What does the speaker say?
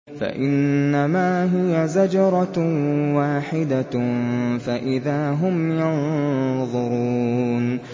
فَإِنَّمَا هِيَ زَجْرَةٌ وَاحِدَةٌ فَإِذَا هُمْ يَنظُرُونَ